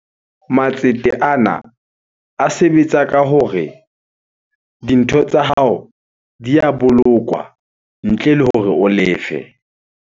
Matsete ana a sebetsa ka hore dintho tsa hao di ya bolokwa ntle le hore o lefe.